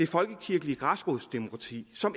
folkekirkelige græsrodsdemokrati som